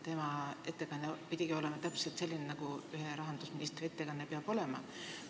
Tema ettekanne oli täpselt selline, nagu ühe rahandusministri ettekanne peab olema.